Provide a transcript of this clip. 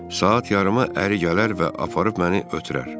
Saat yarıma əri gələr və aparıb məni ötürər.